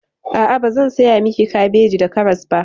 A'a, bazan saya miki kabeji da karas ba.